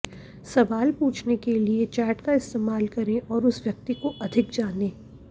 सवाल पूछने के लिए चैट का इस्तेमाल करें और उस व्यक्ति को अधिक जानें